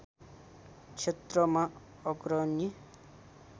क्षेत्रमा अग्रणी